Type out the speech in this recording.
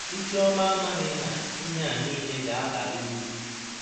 Isioma amaghị na ihe a nile ga-abara uru.